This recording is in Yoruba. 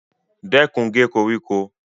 Stop cutting the grass